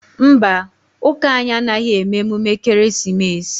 Mba, ụka anyị anaghị eme emume ekereesimesi